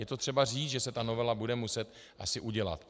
Je to třeba říct, že se ta novela bude muset asi udělat.